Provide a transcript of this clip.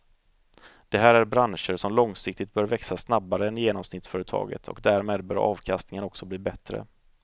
Det här är branscher som långsiktigt bör växa snabbare än genomsnittsföretaget och därmed bör avkastningen också bli bättre.